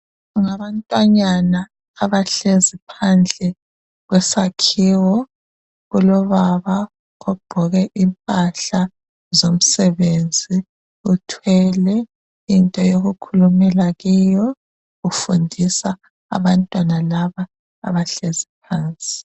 ngabantwanyana abahlezi phandle kwesakhiwo kulobaba ogqoke impahla zomsebenzi uthwele into yokukhulumela kiyo ufundisa abantwana laba abahlezi phansi